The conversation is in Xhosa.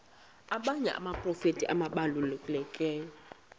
abanye abaprofeti ababalulekileyo